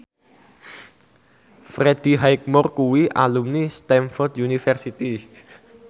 Freddie Highmore kuwi alumni Stamford University